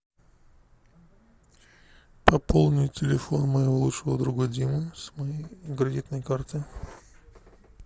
пополни телефон моего лучшего друга димы с моей кредитной карты